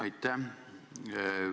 Aitäh!